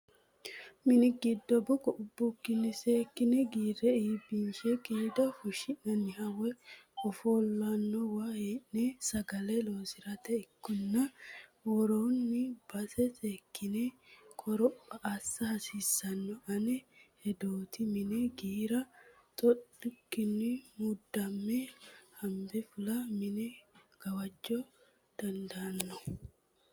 Mini giddo bukko ubbukkinni seekkine giira iibbinshe qiida fushinaniha woyi ofolinoniwa hee'ne sagale loosirate ikkanna worani base seekkine qoropha assa hasiisano ane hedoti, mine giira xoukkinni mudame hanbe fulliro mine gawaja dandaanonna.